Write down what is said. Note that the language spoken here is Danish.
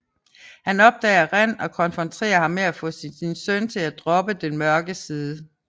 Han opdager Ren og konfronterer ham for at få sin søn til at droppe den mørke side